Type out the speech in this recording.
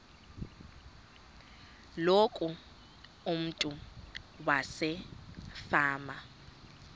loku umntu wasefama